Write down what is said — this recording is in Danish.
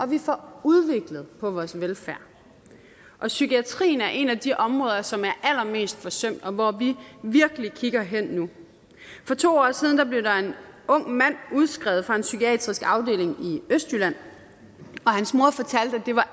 vi får udviklet vores velfærd psykiatrien er et af de områder som er allermest forsømt og hvor vi virkelig kigger hen nu for to år siden blev en ung mand udskrevet fra en psykiatrisk afdeling i østjylland og hans mor fortalte at det var